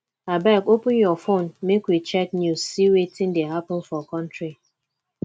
abeg open your fone make we check news see wetin dey happen for country